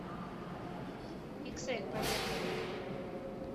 иксэль поехали